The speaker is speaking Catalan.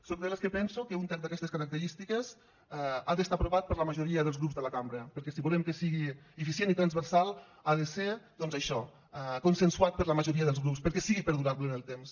sóc de les que penso que un text d’aquestes característiques ha d’estar aprovat per la majoria dels grups de la cambra perquè si volem que sigui eficient i transversal ha de ser doncs això consensuat per la majoria dels grups perquè sigui perdurable en el temps